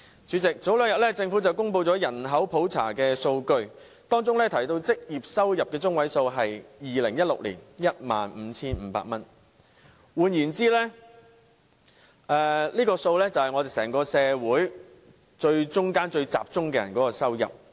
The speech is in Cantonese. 主席，政府早前公布了人口普查數據，當中提到2016年的職業收入中位數為 15,500 元。換言之，這個數字反映了中層人士的收入。